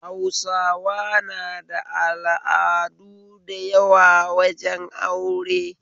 Hausawa na da al'adu da yawa wajen aure